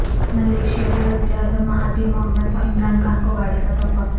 Malaysia کے وزیراعظم Mahathir Mohamad کا عمران خان کو گاڑی کا تحفہ